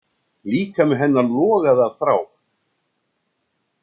Líkami hennar logaði af þrá.